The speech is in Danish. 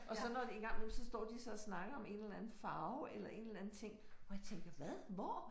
Og så når en gang imellem så står de så og snakker om en eller anden farve eller en eller anden ting hvor jeg tænker hvad hvor